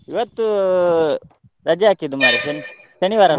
ಇವತ್ತು ರಜೆ ಹಾಕಿದ್ದೆ ಮಾರಯಾ ಶನಿ~ ಶನಿವಾರ .